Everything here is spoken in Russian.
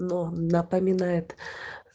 но напоминает